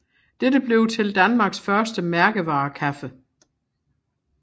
Dette blev til Danmarks første mærkevarekaffe